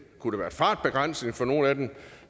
kunne være fartbegrænsning for nogle af dem